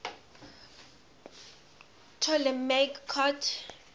ptolemaic court